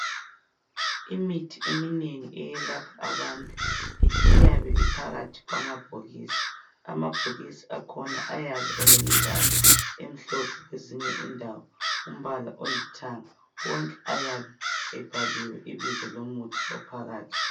imithi eminengi eyelapha abantu iyabe iphakathi kwamabhokisi amabhokisi akhona ayabe elemibala emhlope kwezinye indawo umbala olithanga wonke ayabe ebhaliwe ibizo lomuthi ophakathi